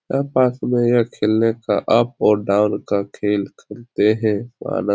यह पास में यह खेलने का आप और डाउन खेल खेलते हैं माना --